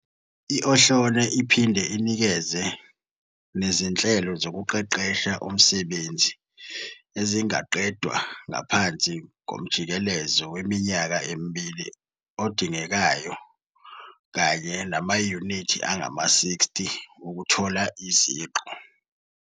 I-Ohlone iphinde inikeze nezinhlelo zokuqeqesha umsebenzi ezingaqedwa ngaphansi komjikelezo weminyaka emibili odingekayo kanye namayunithi angama-60 ukuthola iziqu.